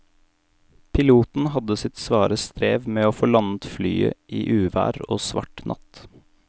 Piloten hadde sitt svare strev med å få landet flyet i uvær og svart natt.